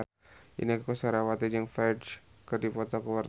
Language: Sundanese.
Inneke Koesherawati jeung Ferdge keur dipoto ku wartawan